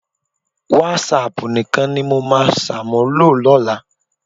Wásáaàpù nìkan ni mo máa ṣàmúlò lọ́la